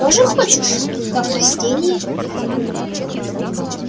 тоже хочешь как растение